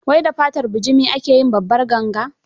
Wai da fatar bujimi ake yin Babbar ganga?